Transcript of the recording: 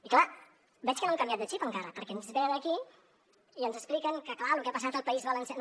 i clar veig que no han canviat de xip encara perquè ens venen aquí i ens expliquen que clar lo que ha passat al país valencià